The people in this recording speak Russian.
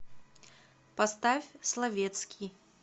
поставь словетский